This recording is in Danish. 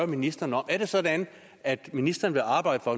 ministeren om er det sådan at ministeren vil arbejde for